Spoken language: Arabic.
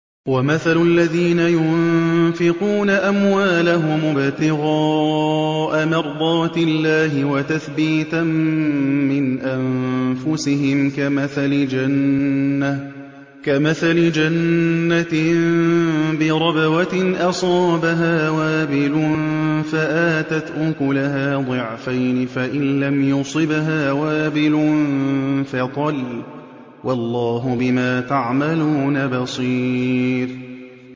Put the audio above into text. وَمَثَلُ الَّذِينَ يُنفِقُونَ أَمْوَالَهُمُ ابْتِغَاءَ مَرْضَاتِ اللَّهِ وَتَثْبِيتًا مِّنْ أَنفُسِهِمْ كَمَثَلِ جَنَّةٍ بِرَبْوَةٍ أَصَابَهَا وَابِلٌ فَآتَتْ أُكُلَهَا ضِعْفَيْنِ فَإِن لَّمْ يُصِبْهَا وَابِلٌ فَطَلٌّ ۗ وَاللَّهُ بِمَا تَعْمَلُونَ بَصِيرٌ